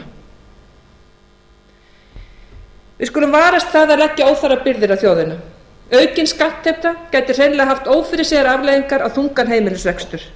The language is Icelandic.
núna við skulum varast það að leggja óþarfa fyrir á þjóðina aukin skattheimta gæti hreinlega haft ófyrirséðar afleiðingar á þungan heimilisrekstur